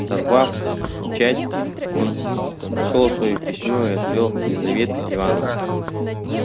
сорвав печать он нашёл своё письмо и ответ лизаветы ивановны